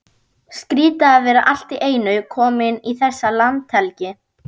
Skrýtið að vera allt í einu kominn í þessa landhelgi!